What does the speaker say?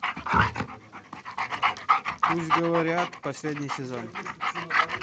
пусть говорят последний сезон